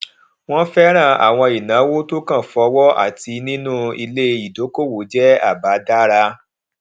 wọn fẹràn àwọn ìnáwó tó kan fọwọ àti nínú ilé dókòwò jẹ àbá dára